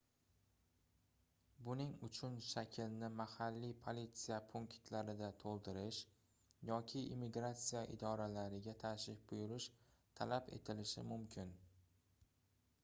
buning uchun shaklni mahalliy politsiya punktlarida toʻldirish yoki immigratsiya idoralariga tashrif buyurish talab etilishi mumkin